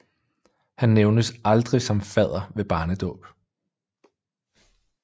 Han nævnes aldrig som fadder ved barnedåb